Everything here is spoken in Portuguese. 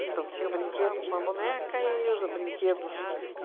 Então, tinha o brinquedo com a boneca e os brinquedos.